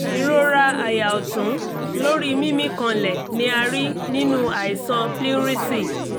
ìrora àyà ọ̀tún lórí mímí kanlẹ̀ ni a rí nínú àìsàn pleurisy